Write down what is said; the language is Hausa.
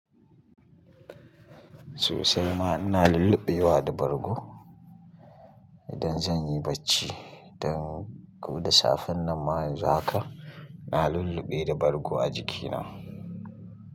Sosai ma ina lulluɓe wa da bargo idan zan yi barci. Don ko da safen nan ma yanzu haka na lulluɓe da bargo a jikina.